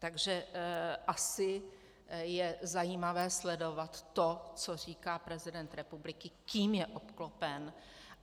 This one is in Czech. Takže asi je zajímavé sledovat to, co říká prezident republiky, kým je obklopen.